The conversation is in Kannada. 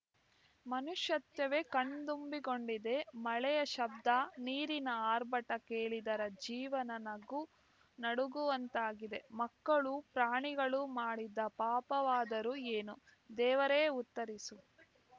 ಮನುಷ್ಯತ್ವವೇ ಕಣ್ತುಂಬಿಕೊಂಡಿದೆ ಮಳೆಯ ಶಬ್ಧ ನೀರಿನ ಆರ್ಭಟ ಕೇಳಿದರೆ ಜೀವನ ನಗು ನಡುಗುವಂತಾಗಿದೆ ಮಕ್ಕಳು ಪ್ರಾಣಿಗಳು ಮಾಡಿದ ಪಾಪವಾದರೂ ಏನು ದೇವರೇ ಉತ್ತರಿಸು